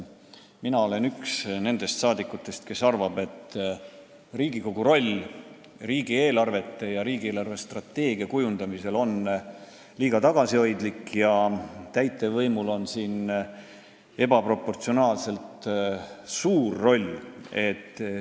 Mina olen üks nendest saadikutest, kes arvab, et Riigikogu roll riigieelarve ja riigi eelarvestrateegia kujundamisel on liiga tagasihoidlik ja täitevvõimul on siin ebaproportsionaalselt suur roll.